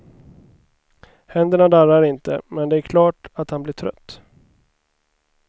Händerna darrar inte, men det är klart att han blir trött.